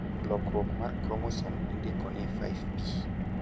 lokruok mar kromosom indiko ni 5P